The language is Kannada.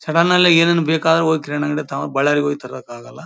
ಸಡನ್ ಆಗ್ಲಿ ಏನಾದ್ರು ಬೇಕಾದ್ರೆ ಹೋಗಿ ಕಿರಾಣಿ ಅಂಗಡಿಗೆ ತಗೋ ಬಳ್ಳಾರಿಗೆ ಹೋಗಿ ತರಕ್ಕಾಗಲ್ಲ.